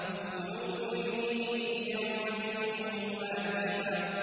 قُلُوبٌ يَوْمَئِذٍ وَاجِفَةٌ